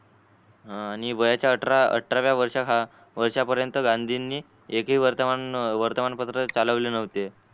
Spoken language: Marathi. आणि वयाच्या अठरा अठराव्या वर्ष वर्षा पर्यन्त गांधी एकही वर्तमान वर्तमान पत्र चालवले नव्हते.